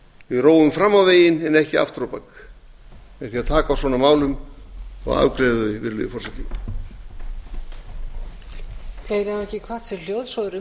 við róum fram á veginn en ekki aftur á bak með því að taka á svona málum og afgreiða þau virðulegi forseti